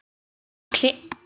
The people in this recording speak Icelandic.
Og klippa hekkið?